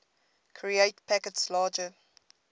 create packets larger